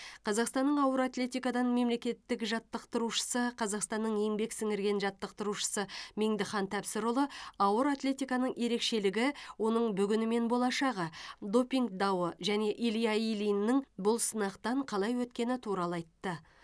қазақстанның ауыр атлетикадан мемлекеттік жаттықтырушысы қазақстанның еңбек сіңірген жаттықтырушы меңдіхан тәпсірұлы ауыр атлетиканың ерекшелігі оның бүгіні мен болашағы допинг дауы және илья ильиннің бұл сынақтан қалай өткені туралы айтты